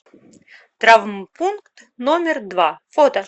травмпункт номер два фото